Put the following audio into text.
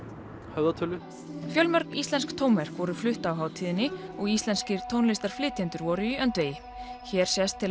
höfðatölu fjölmörg íslensk tónverk voru flutt á hátíðinni og íslenskir tónlistarflytjendur voru í öndvegi hér sést til